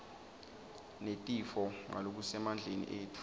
netifo ngalokusemandleni etfu